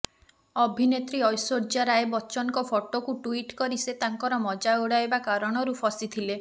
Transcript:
ଅଭିନେତ୍ରୀ ଐଶ୍ୱର୍ଯ୍ୟା ରାୟ ବଚ୍ଚନଙ୍କ ଫଟୋକୁ ଟ୍ୱିଟ୍ କରି ସେ ତାଙ୍କର ମଜା ଉଡାଇବା କାରଣରୁ ଫସିଥିଲେ